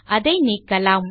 அதை நீக்கலாம்